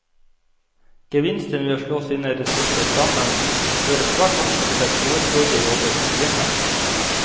Gevinsten ved å slå sine ressurser sammen, fører svært ofte til at overflødige jobber forsvinner.